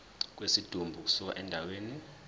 kwesidumbu ukusuka endaweni